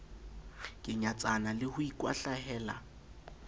ke nyatsana le ho ikwahlahela